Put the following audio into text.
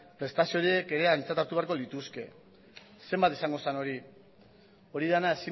prestazio horiek ere aintzat hartu beharko lituzke zenbat izango zen hori hori dena